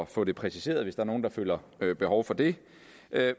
få det præciseret hvis der er nogen der føler behov for det